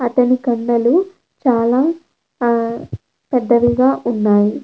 అతని కండలు చాలా హా పెద్దవిగా ఉన్నాయి.